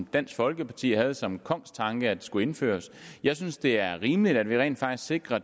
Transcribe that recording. dansk folkeparti havde som kongstanke at den skulle indføres jeg synes det er rimeligt at vi rent faktisk sikrer at